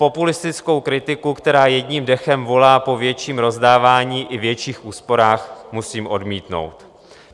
Populistickou kritiku, která jedním dechem volá po větším rozdávání i větších úsporách, musím odmítnout.